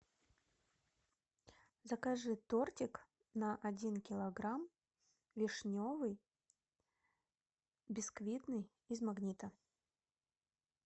закажи тортик на один килограмм вишневый бисквитный из магнита